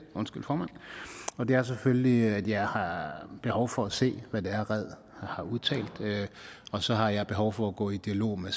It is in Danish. og det er selvfølgelig at jeg har behov for at se hvad det er red har udtalt og så har jeg behov for at gå i dialog med